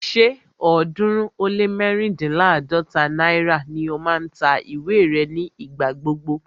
Ṣé ọ̀ọ́dúnrún ó lé mẹ́ríndínláàdọ́ta náírà ni ó máa ń ta ìwé rẹ̀ ní ìgbà gbogbo